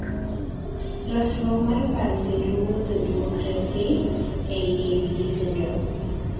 losruok mar paro kendo wuotho duokre piny ei KBG syndrome